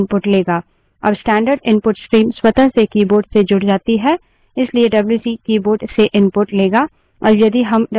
अब standard input stream स्वतः से keyboard से जुड़ जाती है इसलिए डब्ल्यूसी wc keyboard से input लेगा